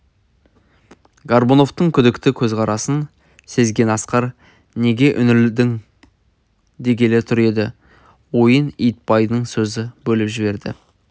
горбуновтың күдікті көзқарасын сезген асқар неге үңілдің дегелі тұр еді ойын итбайдың сөзі бөліп жіберді